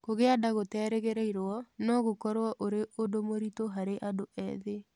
kũgĩa nda gũterĩgĩrĩirũo no gũkorũo ũrĩ ũndũ mũritũ harĩ andũ ethĩ.